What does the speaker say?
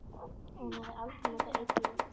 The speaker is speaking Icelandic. Og hún hafði aldrei notað eiturlyf.